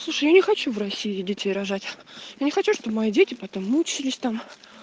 слушай я не хочу в россии детей рожать я не хочу чтобы мои дети потом мучались там